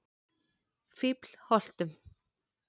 Fíflholtum